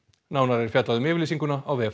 nánar er fjallað um yfirlýsinguna á vef